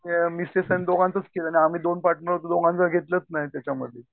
म्हणजे मिसेस आणि दोघांचेच की आणि आम्ही दोन पार्टनर दोघांना घेतलंच नाही त्याच्यामध्ये.